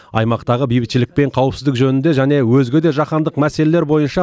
аймақтағы бейбітшілік пен қауіпсіздік жөнінде және өзге де жаһандық мәселелер бойынша